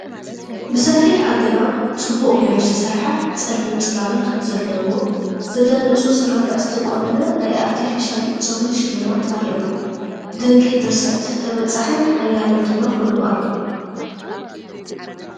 ብሰፊሕ ኣገባብ፡ ጽቡቕ ጌሩ ዝተሰርሐ ጸሊም ጽላሎት ዘለዎ፡ ዘደንጹ ስርርዕ ዝተቆነነ ናይ ኣርቴፊሻል ፀጉሪ ሽልማት ኣርእዮም። ድንቂ ድርሰት- ተበጻሒን ሓያልን ድማ ኮይኑ ኣሎ፡፡!